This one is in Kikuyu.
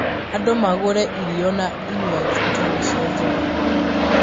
andũ magũre irio na inywajĩ itarĩ cia njohi